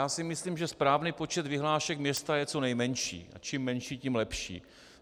Já si myslím, že správný počet vyhlášek města je co nejmenší, a čím menší, tím lepší.